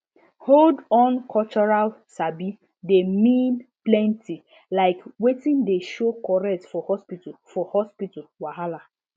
hold on cultural sabi dey mean plenty like wetin dey show correct for hospital for hospital wahala